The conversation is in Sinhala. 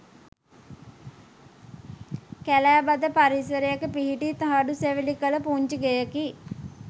කැලෑ බද පරිසරයක පිහිටි තහඩු සෙවිලි කළ පුංචි ගෙයකි.